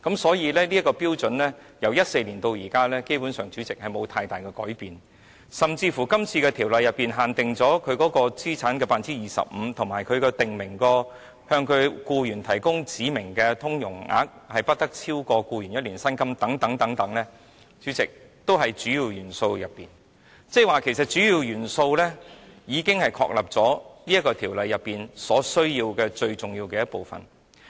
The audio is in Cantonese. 所以，主席，由2014年至今，這些標準基本上沒有太大改變，甚至是《條例草案》訂明資產不得超過 25%， 以及向其僱員提供指明的融通總額不得超過僱員1年薪金等規定，也是屬於主要元素。即是說，主要元素已經確立《條例草案》最重要的部分。